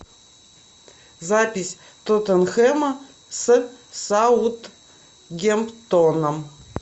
запись тоттенхэма с саутгемптоном